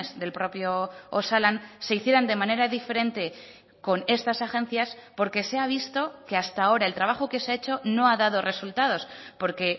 del propio osalan se hicieran de manera diferente con estas agencias porque se ha visto que hasta ahora el trabajo que se ha hecho no ha dado resultados porque